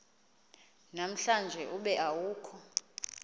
namhlanje ube awukho